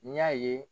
N y'a ye